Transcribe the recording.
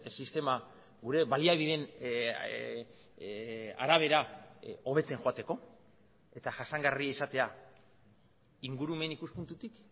sistema gure baliabideen arabera hobetzen joateko eta jasangarria izatea ingurumen ikuspuntutik